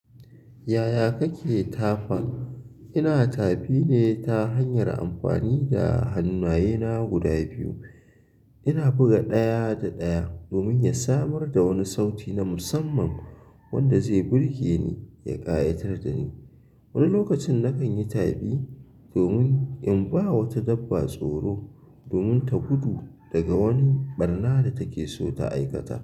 Yaya kake ta fan? Ina tafine ta hanyar amfani da hannaaye guda biyu. Ina buga ɗaya da ɗaya domin ya samar da wani sauti na musamman wanda zai burge ni ya ƙayatar da ni. Wani lokacin nakan yi ta fii domin in ba wata dabba tsoro domin ta gudu daga wani ɓarna da take so ta aikata.